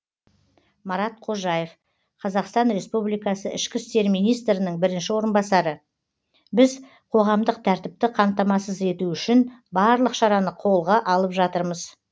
марат қожаев қазақстан республикасы ішкі істер министрінің бірінші орынбасары біз қоғамдық тәртіпті қамтамасыз ету үшін барлық шараны қолға алып жатырмыз